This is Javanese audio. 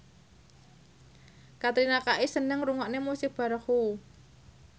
Katrina Kaif seneng ngrungokne musik baroque